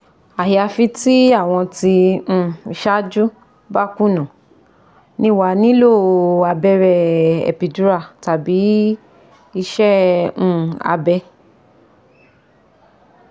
Ayafi ti awon ti um isaju ba kuna, ni wa a nilo abere epidural tabi ise um abe